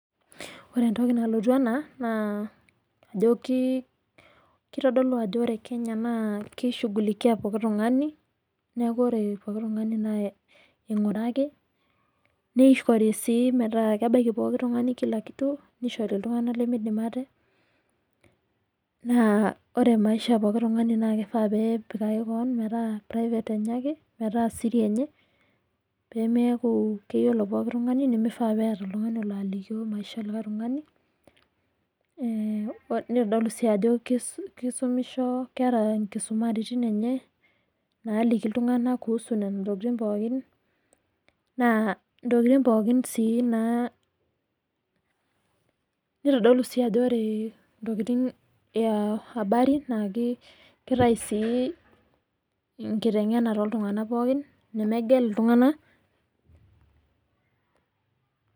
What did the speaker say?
Ore entoki nalotu ena, naa ajo kitodolu ajo ore Kenya naa ki shughulikia pooki tung'ani, neeku ore pooki tung'ani na ing'urari, nishori si metaa kebaiki pooki tung'ani kila kitu, nishori iltung'anak limidim ate. Naa ore maisha pooki tung'ani na kifaa pepikaki keon metaa private enye ake, metaa siri enye, pemeeku keyiolo pooki tung'ani nimifaa peeta oltung'ani olo alikio maisha olikae tung'ani, nitodolu si ajo kisumisho keeta nkisumaritin enye, naliki iltung'anak kuhusu nena tokiting pookin, naa intokiting pookin si naa, nitodolu si ajo ore intokiting ya habari, na kitayu si nkiteng'ena toltung'anak pookin, nemegel iltung'anak.